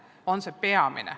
See hirm on peamine.